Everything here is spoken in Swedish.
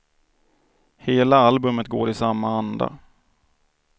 Hela albumet går i samma anda.